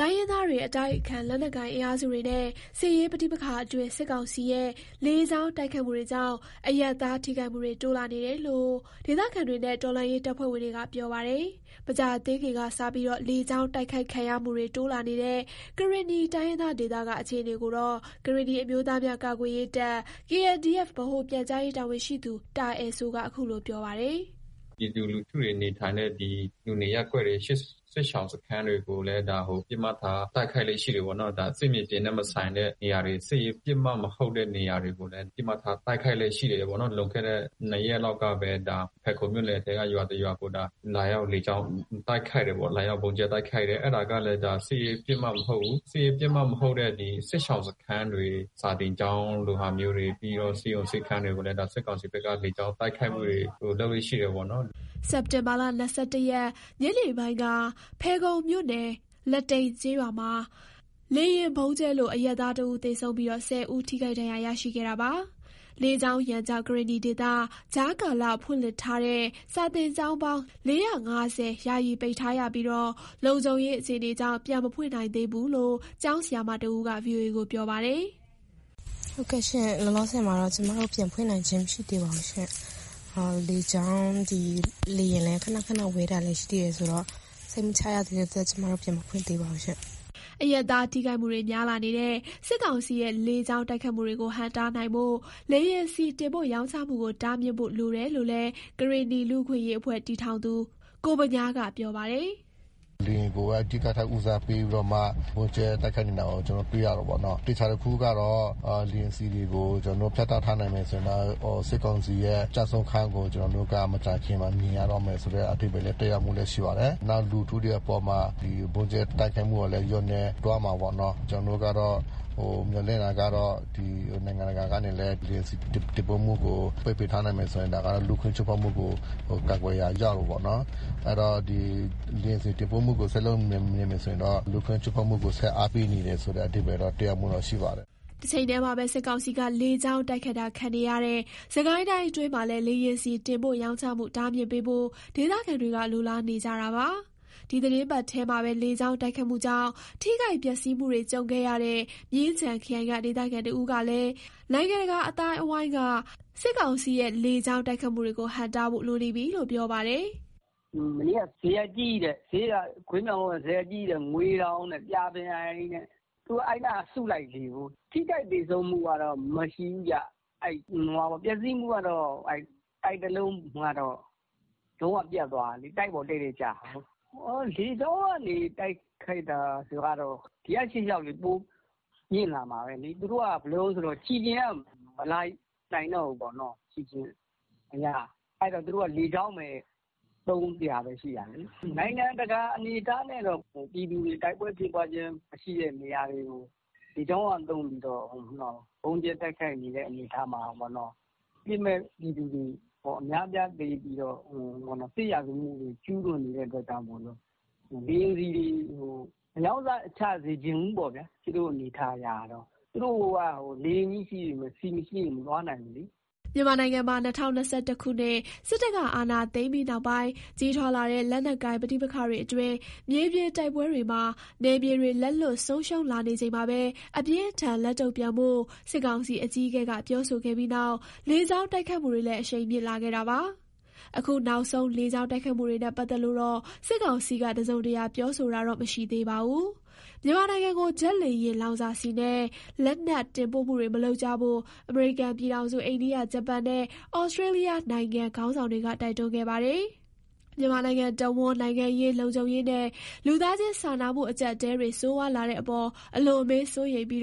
တိုင်းရင်းသားတွေ၊ အတိုက်အခံ လက်နက်ကိုင် အင်အားစုတွေနဲ့ စစ်ရေးပဋိပက္ခအတွင်း စစ်ကောင်စီရဲ့ လေကြောင်း တိုက်ခိုက်မှုတွေကြောင့် အရပ်သား ထိခိုက်မှုတွေ တိုးလာနေတယ်လို့ ဒေသခံတွေနဲ့ တော်လှန်ရေးတပ်ဖွဲ့ဝင်တွေက ပြောပါတယ်။ မကြာသေးခင်ကစ လေကြောင်းတိုက်ခိုက်ခံရမှုတွေ တိုးလာနေတဲ့ ကရင်နီတိုင်းရင်းသား ဒေသက အခြေအနေကိုတော့ ကရင်နီအမျိုးသားများကာကွယ်ရေးတပ် (KNDF) ဗဟိုပြန်ကြားရေးတာဝန်ရှိသူ တာအယ်စိုးက အခုလို ပြောပါတယ်။ “ပြည်သူလူထုတွေ နေထိုင်တဲ့ လူနေရပ်ကွက်တွေ စစ်ရှောင်စခန်းတွေကိုလည်း ပစ်မှတ်ထားတိုက်ခိုက်လေ့ရှိတယ်ပေါ့နော်။ ဒါစစ်မြေပြင်နဲ့ မဆိုင်တဲ့ နေရာတွေ စစ်ရေးပစ်မှတ်မဟုတ်တဲ့ နေရာတွေကိုလည်း ပစ်မှတ်ထားတိုက်ခိုက်လေ့ရှိတယ်ပေါ့နော်။ လွန်ခဲ့တဲ့ ၂ရက်လောက်က ဖယ်ခုံမြို့နယ်ထဲက ရွာတစ်ရွာကို လာရောက် လေကြောင်းတိုက်ခိုက်တယ်ပေါ့၊ လာရောက်ဗုံးကြဲတိုက်ခိုက်တယ်။ အဲ့ဒါကလည်း စစ်ရေးပစ်မှတ်မဟုတ်ဘူး။ စစ်ရေးပစ်မှတ်မဟုတ်တဲ့ ဒီစစ်ရှောင်စခန်းတွေ စာသင်ကျောင်းလိုမျိုးတွေ ပြီးတော့ ဆေးရုံဆေးခန်းတွေကိုလည်း စစ်ကောင်စီဘက်က လေကြောင်းတိုက်ခိုက်မှုတွေ လုပ်လေ့ရှိတယ်ပေါ့နော်။” စက်တင်ဘာ ၂၁ ရက် ညနေပိုင်းက ဖယ်ခုံမြို့နယ် လတိန်ကျေးရွာမှာ လေယာဉ်ဗုံးကြဲလို့ အရပ်သား ၁ဦးသေဆုံး၊ ၁၀ ဦးထိခိုက်ဒဏ်ရာရရှိခဲ့တာပါ။ လေကြောင်းရန်ကြောင့် ကရင်နီဒေသ ကြားကာလအစိုးရက ဖွင့်လှစ်ထားတဲ့ စာသင်ကျောင်းပေါင်း ၄၅၀ ယာယီပိတ်ထားရပြီး လုံခြုံရေးအခြေအနေကြောင့် ပြန်မဖွင့်နိုင်သေးဘူးလို့လည်း ကျောင်းဆရာမတဦးက ပြောပါတယ်။ “ဟုတ်ကဲ့ရှင့် လောလောဆယ်မှာတော့ ကျမတို့ကျောင်းပြန်ဖွင့်နိုင်ခြင်းမရှိသေးပါရှင်။ လေယာဉ်လည်း ခဏခဏပျံဝဲတာလည်း ရှိသေးတာဆိုတော့ စိတ်မချရတဲ့အတွက် ကျမတို့ပြန်မဖွင့်သေးပါဘူးရှင့်။” အရပ်သားထိခိုက်မှုတွေ များလာနေတဲ့ စစ်ကောင်စီရဲ့ လေကြောင်းတိုက်ခိုက်မှုတွေကို ဟန့်တားနိုင်ဖို့ လေယာဉ်ဆီ တင်ပို့ရောင်းချမှုကို တားမြစ်ဖို့ လိုတယ်လို့လည်း ကရင်နီလူ့အခွင့်အရေးအဖွဲ့ ထူထောင်သူ ကိုဗညားက ပြောပါတယ်။ “လေယာဉ်ကိုက အဓိကထား ဦးစားပေးပြီးတော့မှ ဗုံးကြဲတိုက်ခိုက်နေတာကို ကျနော်တို့ တွေ့ရတယ်ပေါ့နော်။ သေချာတာတခုကတော့ လေယာဉ်ဆီတွေကို ကျနော်တို့ ဖြတ်တောက်ထားနိုင်မယ်ဆိုရင်တော့ စစ်ကောင်စီရဲ့ ကျဆုံးခန်းကို ကျနော်တို့က မကြာခင်မှာ မြင်ရတော့မယ်ဆိုတဲ့ အဓိပ္ပါယ်လည်း သက်ရောက်မှုလည်း ရှိပါတယ်။ နောက်လူထုတွေအပေါ်မှာ ဒီဗုံးကြဲတိုက်ခိုက်ကလည်း လျှော့နည်းသွားမှာပေါ့နော်။” တချိန်တည်းမှာပဲ စစ်ကောင်စီက လေကြောင်းတိုက်ခိုက်တာခံနေရတဲ့ စစ်ကိုင်းတိုင်းအတွင်းမှာလည်း လေယာဉ်ဆီတင်ပို့ရောင်းချမှု တားမြစ်ပေးဖို့ ဒေသခံတွေ လိုလားနေကြပါတယ်။ ဒီသီတင်းပတ်ထဲမှာပဲ လေကြောင်းတိုက်ခိုက်မှုကြောင့် ထိခိုက်ပျက်စီးမှုတွေ ကြုံခဲ့ရတဲ့ မြင်းခြံခရိုင်က ဒေသခံတဦးကလည်း နိုင်ငံတကာ အသိုင်းအဝိုင်းက စစ်ကောင်စီရဲ့ လေကြောင်းတိုက်ခိုက်မှုတွေကို ဟန့်တားဖို့ လိုနေပြီလို့ ပြောပါတယ်။ "မနေ့က ဇရပ်ကြီး ငွေသောင် ကြာပင်အိုင်သူက အဲ့နားက အစုလိုက်လေးကို ထိခိုက်သေဆုံးမှုကတော့ မရှိဘူး။ ပျက်စီးမှုကတော့ တိုက်တလုံးကတော့ လုံးဝပျက်သွားတာလေ။ တိုက်ပေါ် တည့်တည့်ကျတာကို။ လေကြောင်းက တိုက်ခိုက်တာက ဒီရှေ့လျှောက် ပိုမြင့်လာမှာပဲလေ။ သူတို့က ခြေကျင်က မလာနိုင်တော့ဘူးပေါ့နော်။ အဲ့တော့ သူတို့က လေကြောင်းပဲ သုံးစရာရှိမှာလေ။ နိုင်ငံတကာ အနေအထားနဲ့က ပြည်သူတွေ တိုက်ပွဲဖြစ်ပွားခြင်းမရှိတဲ့နေရာတွေကို လေကြောင်းကသုံးပြီးတော့ ဗုံးကြဲတိုက်ခိုက်နေတဲ့ အနေအထားမှာပေါ့။ အပြစ်မဲ့ပြည်သူတွေ အများအပြားသေပြီတော့ စစ်ရာဇဝတ်မှုတွေ ကျူးလွန်နေတာကြောင့် လေယာဉ်ဆီတွေကို မရောင်းချစေချင်ဘူးပေါ့။ သူတို့က လေယာဉ်ကြီးရှိပြီး ဆီမရှိရင် မသွားနိုင်ဘူးလေ။" မြန်မာနိုင်ငံမှာ ၂၀၂၁ ခုနှစ် စစ်တပ်က အာဏာသိမ်းပြီးနောက်ပိုင်း ကြီးထွားလာတဲ့ လက်နက်ကိုင် ပဋိပက္ခတွေအတွင်း မြေပြင်တိုက်ပွဲတွေမှာ နယ်မြေတွေ လက်လွတ်ဆုံးရှုံးလာနေချိန်မှာပဲ အပြင်းအထန်လက်တုံ့ပြန်ဖို့ စစ်ကောင်စီအကြီးအကဲက ပြောဆိုခဲ့ပြီးနောက် လေကြောင်း တိုက်ခိုက်မှုတွေလည်း အရှိန်မြင့်လာခဲ့တာပါ။ အခုနောက်ဆုံး လေကြောင်းတိုက်ခိုက်မှုတွေနဲ့ ပတ်သက်လို့တော့ စစ်ကောင်စီက တစုံတရာပြောဆိုတာတော့ မရှိသေးပါဘူး။ မြန်မာနိုင်ငံကို ဂျက်လေယာဉ် လောင်စာဆီနဲ့ လက်နက်တင်ပို့မှုတွေမလုပ်ကြဖို့ အမေရိကန်ပြည်ထောင်စု၊ အိန္ဒိယ၊ ဂျပန်နဲ့ ဩစတြေးလျနိုင်ငံ ခေါင်းဆောင်တွေကတိုက်တွန်းခဲ့ပါတယ်။ မြန်မာနိုင်ငံတဝန်း နိုင်ငံရေး၊ လုံခြုံရေးနဲ့ လူသားချင်းစာနာမှုအကျပ်အတည်းတွေ ဆိုးဝါးလာတဲ့အပေါ် အလွန်အမင်းစိုးရိမ်ပြီး